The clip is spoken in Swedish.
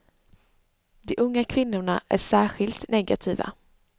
De unga kvinnorna är särskilt negativa.